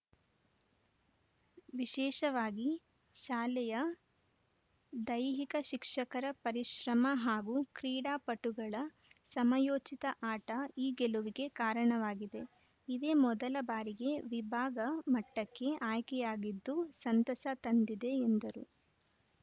ವಿಶೇಷವಾಗಿ ಶಾಲೆಯ ದೈಹಿಕ ಶಿಕ್ಷಕರ ಪರಿಶ್ರಮ ಹಾಗೂ ಕ್ರೀಡಾಪಟುಗಳ ಸಮಯೋಚಿತ ಆಟ ಈ ಗೆಲುವಿಗೆ ಕಾರಣವಾಗಿದೆ ಇದೇ ಮೊದಲ ಬಾರಿಗೆ ವಿಭಾಗ ಮಟ್ಟಕ್ಕೆ ಆಯ್ಕೆಯಾಗಿದ್ದು ಸಂತಸ ತಂದಿದೆ ಎಂದರು